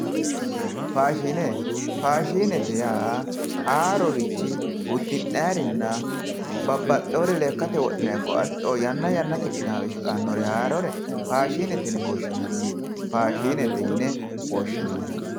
Faashine faashinete yaa haarorichi uddi'nayiiri ikko lekkate wodhinayiiri babbaxxeyoore haarorichi dayiinore faashinete yien woshshinanni